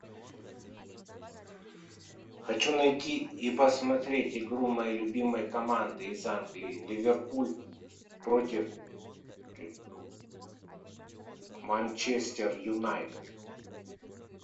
хочу найти и посмотреть игру моей любимой команды из англии ливерпуль против манчестер юнайтед